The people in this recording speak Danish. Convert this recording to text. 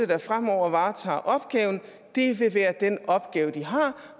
der fremover varetager opgaven vil være den opgave de har